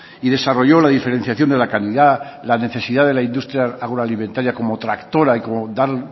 y desarrolló la diferenciación de la calidad la necesidad de la industria agroalimentaria como tractora y como dar